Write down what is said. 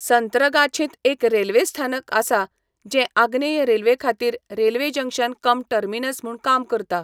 संत्रगाछींत एक रेल्वे स्थानक आसा जें आग्नेय रेल्वेखातीर रेल्वे जंक्शन कम टर्मिनस म्हूण काम करता.